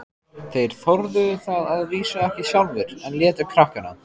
Þeir þorðu það að vísu ekki sjálfir, en létu krakkana.